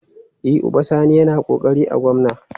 E, Uba Sani yana ƙoƙari a gwamna.